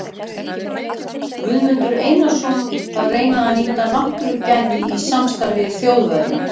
Guðmundur Einarsson, að reyna að nýta náttúrugæði í samstarfi við Þjóðverja.